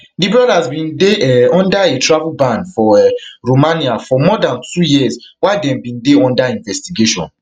di brothers bin dey um under a travel ban for um romania for more dan two years while dem bin dey under investigation